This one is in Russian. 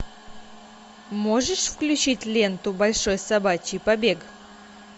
можешь включить ленту большой собачий побег